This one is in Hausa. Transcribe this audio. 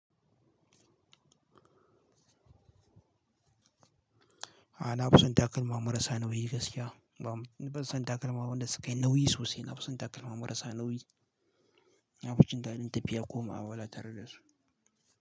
A'a na fi son takalma marasa nauyi gaskiya. Ni ban son takalma wanda su ka yi nauyi sosai. Na fi son takalma marasa nauyi. Na fi jin daɗin tafiya ko mu'amala tare da su.